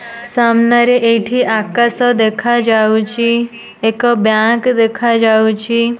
ସାମ୍ନାରେ ଏଇଠି ଆକାଶ ଦେଖାଯାଉଚି ଏକ ବ୍ୟାଙ୍କ୍ ଦେଖାଯାଉଚି।